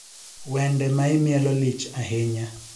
Wende maimielo lich ahinya